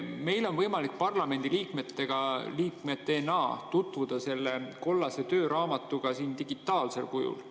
Meil on võimalik parlamendiliikmetena tutvuda selle kollase tööraamatuga digitaalsel kujul.